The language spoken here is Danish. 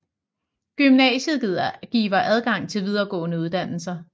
Gymnasiet giver adgang til videregående uddannelser